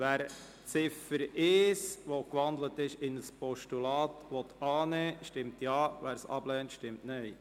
Wer die Ziffer 1, die in ein Postulat gewandelt ist, annehmen will, stimmt Ja, wer dies ablehnt, stimmt Nein.